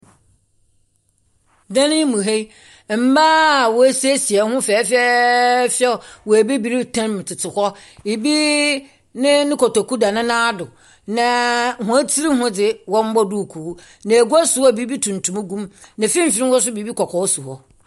Dan mu ha yi, mmaa a woesiesie hɔn ho fɛfɛɛfɛw wɔ abiri tam tsetse hɔ. Ibi ne ne kotoku da ne nan do, na hɔn tsir ho dze, wɔmbɔɔ duukuu, na egua si hɔ a biribi tuntum gum, na mfimfin hɔ nso biribi kɔkɔɔ si hɔ.